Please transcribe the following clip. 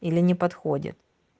или не подходит